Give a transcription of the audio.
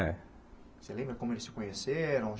É. Você lembra como eles se conheceram?